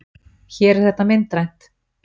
Hér er þetta myndrænt!